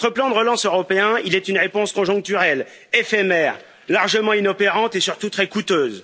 Votre plan de relance européen est une réponse conjoncturelle, éphémère, largement inopérante et surtout très coûteuse.